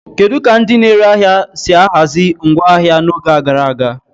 Kedu ka ndị na-ere ahịa si ahazi ngwa ahịa ha n'oge gara aga?